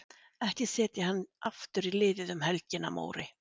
Ekki setja hann aftur í liðið um helgina Móri.